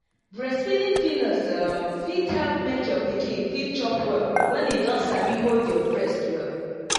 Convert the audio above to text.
breastfeeding pillows um fit help make your pikin fit chop well when e don sabi hold your breast well